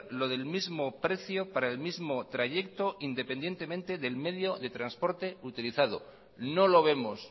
lo del mismo precio para el mismo trayecto independientemente del medio de transporte utilizado no lo vemos